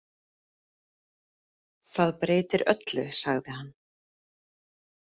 Þetta breytir öllu, sagði hann.